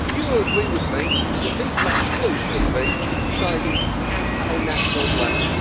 Do you agree with me that these matters really should be decided at a national level?